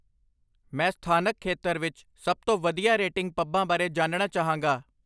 ਮੈਂ ਸਥਾਨਕ ਖੇਤਰ ਵਿੱਚ ਸਭ ਤੋਂ ਵਧੀਆ ਰੇਟਿੰਗ ਪੱਬਾਂ ਬਾਰੇ ਜਾਣਣਾ ਚਾਹਾਂਗਾ